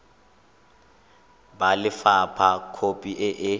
ba lefapha khopi e e